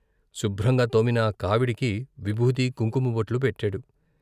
శుభ్రంగా తోమిన కావిడికి విభూతి, కుంకుమ బొట్లు పెట్టాడు.